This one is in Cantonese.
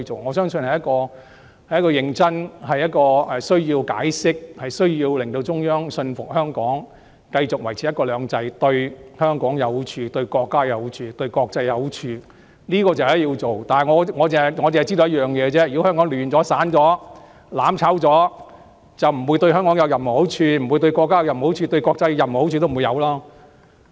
我相信需要認真地解釋，令中央信服香港繼續維持"一國兩制"對香港、對國家、對國際都有好處，這是必須做的，但我亦知道一點，也就是如果香港亂了、散了、"攬炒"了，便不會對香港、對國家、對國際有任何好處。